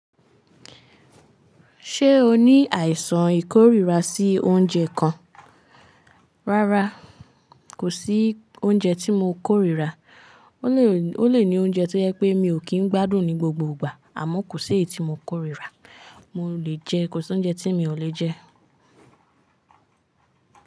Ṣé o ní àìsàn ìkórira sí oúnjẹ kan? Rárá, kò sí oúnjẹ tí mo kórira. Ó lè O le ni oúnjẹ tí o jẹ pé mi ò kí n gbádùn ní gbogbo ìgbà, àmọ́ kò sí èyí tí mo kórira. Mo le jẹ, kò sí oúnjẹ tí mi ò le jẹ.